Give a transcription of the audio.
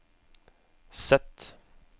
Z